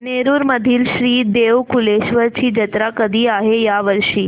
नेरुर मधील श्री देव कलेश्वर ची जत्रा कधी आहे या वर्षी